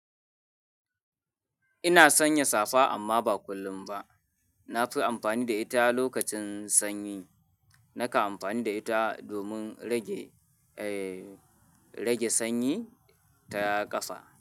Ina sanya safa amma ba kullum ba. Na fi amfani da ita lokacin sanyi. Nakan amfani da ita domin rage, eh, rage sanyi ta ƙafa.